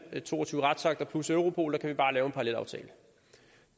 to og tyve retsakter plus europol der kan vi bare lave en parallelaftale